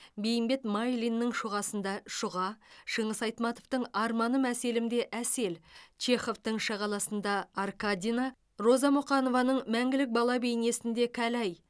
бейімбет майлиннің шұғасында шұға шыңғыс айтматовтың арманым әселімде әсел чеховтың шағаласында аркадина роза мұқанованың мәңгілік бала бейнесінде кәләй